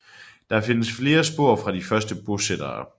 Der findes flere spor fra de første bosættere